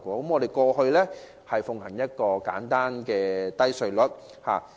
香港過去奉行簡單低稅率制度。